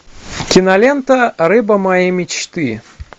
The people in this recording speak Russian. кинолента рыба моей мечты